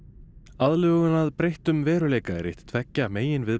aðlögun að breyttum veruleika er eitt tveggja